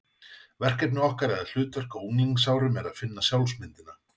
Verkefni okkar eða hlutverk á unglingsárum er að finna sjálfsmyndina.